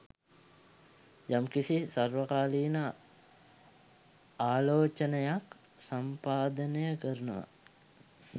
යම්කිසි සර්වකාලීන ආලෝචනයක් සම්පාදනය කරනවා